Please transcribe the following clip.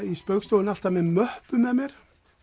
í Spaugstofunni alltaf með möppu með mér